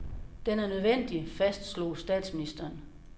Den er nødvendig, fastslog statsministeren.